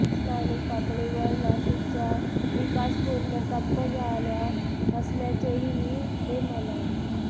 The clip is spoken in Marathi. स्थानिक पातळीवर नाशिकचा विकास पूर्ण ठप्प झाला असल्याचेही ते म्हणाले